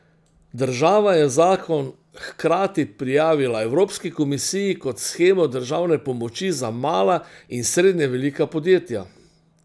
Država je zakon hkrati prijavila Evropski komisiji kot shemo državne pomoči za mala in srednje velika podjetja.